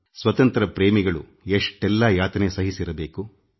ಸ್ವಾತಂತ್ರ್ಯ ಯೋಧರು ಎಷ್ಟೆಲ್ಲ ಯಾತನೆ ಸಹಿಸಿರಬೇಡ